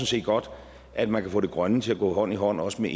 set godt at man kan få det grønne til at gå hånd i hånd også med